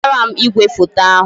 Wetara m igwefoto ahụ